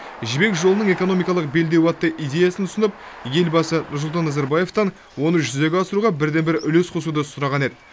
жібек жолының экономикалық белдеуі атты идеясын ұсынып елбасы нұрсұлтан назарбаевтан оны жүзеге асыруға бірден бір үлес қосуды сұраған еді